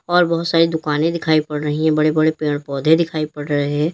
और बहोत सारी दुकाने दिखाई पड़ रही हैं बड़े बड़े पेड़ पौधे दिखाई पड़ रहे हैं।